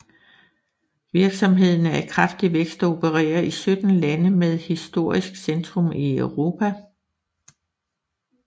Virksomheden er i kraftig vækst og opererer i 17 lande med historisk centrum i Europa